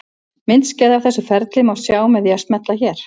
Myndskeið af þessu ferli má sjá með því að smella hér.